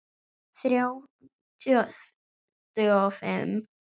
Þrjá tuttugu og fimm